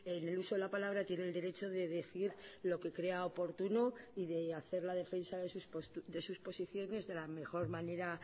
en el uso de la palabra tiene el derecho de decir lo que crea oportuno y de hacer la defensa de sus posiciones de la mejor manera